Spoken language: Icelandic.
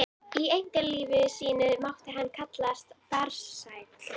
Í einkalífi sínu mátti hann kallast farsæll.